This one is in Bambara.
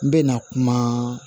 N bɛ na kuma